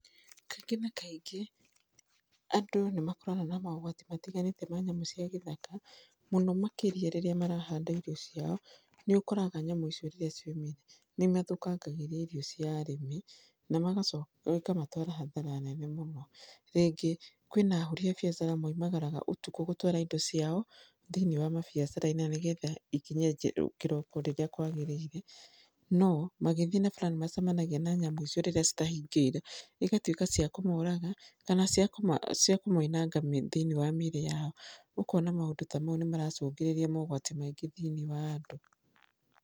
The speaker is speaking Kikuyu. Kaingĩ na kaingĩ, andũ nĩ makoranaga na maũgwati matiganĩte ma nyamũ cia gĩthaka, mũno makĩria rĩrĩa marahanda irio ciao. Nĩ ũkoraga nyamũ icio rĩrĩa cioimĩra nĩ mathũkangagĩrio irio cia arĩmi na magacoka ikamatwara hathara nene mũno. Rĩngĩ kwĩna ahũri a biacara moimagaraga ũtukũ gũtwara indo ciao, thĩiniĩ wa mabiacara-inĩ nĩ getha ikinye njerũ kĩroko rĩrĩa kwagĩrĩire, no magĩthiĩ na bara nĩ macemanagia na nyamũ icio rĩrĩa citahingĩirwo igatuĩka cia kũmoraga kana cia kũmoinanga thĩiniĩ wa mĩĩrĩ yao. Ũkona maũndũ ta mau nĩ maracũngĩrĩria mogwati maingĩ thĩiniĩ wa andũ.